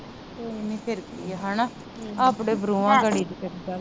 ਕੋਈ ਨਹੀਂ ਫਿਰ ਕੀਆ ਹੇਨਾ ਆਪਣੇ ਬਰੂਹਾਂ ਗਾੜੀ ਦੀ ਕਿਹੜੀ ਗੱਲ ਆ।